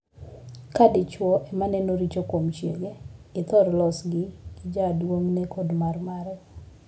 Ka dichwo ema neno richo kuom chiege, ithor losgi gi jaduong'ne kod marmare.